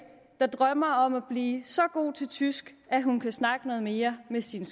der drømmer om at blive så god til tysk at hun kan snakke noget mere med sin